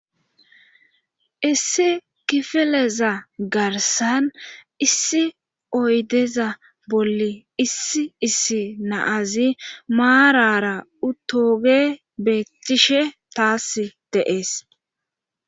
issi kifeleza garsan issi oydeza bolli issi issi naazi maarara uthoge beettishe taasi de7es